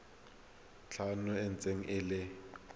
tlhano e ntse e le